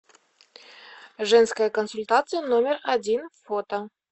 женская консультация номер один фото